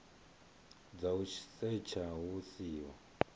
dza u setsha hu siho